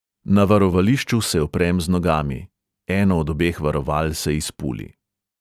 Na varovališču se oprem z nogami, eno od obeh varoval se izpuli.